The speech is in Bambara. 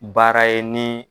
Baara ye ni.